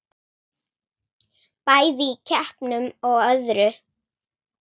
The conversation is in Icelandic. Bæði í keppnum og öðru.